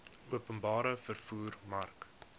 openbare vervoer mark